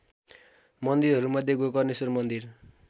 मन्दिरहरूमध्ये गोकर्णेश्वर मन्दिर